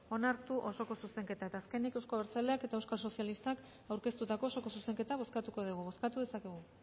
onartu osoko zuzenketa eta azkenik euzko abertzaleak eta euskal sozialistak aurkeztutako osoko zuzenketa bozkatuko dugu bozkatu dezakegu